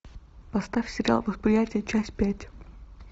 поставь сериал восприятие часть пять